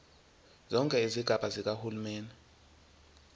zonke izigaba zikahulumeni